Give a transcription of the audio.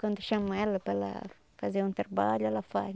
Quando chamam ela para ela fazer um trabalho, ela faz.